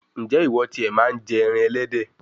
ǹjẹ́ ìwọ ti è màa ń jẹ ẹran ẹlẹ́dẹ̀?